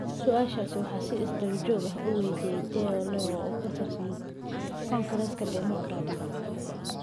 su'aashaas waxaa si isdaba joog ah u waydiiyay Ted Lieu oo ka tirsan Kongareeska Dimuqraadiga.